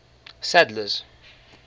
sadler's